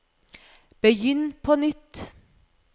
begynn på nytt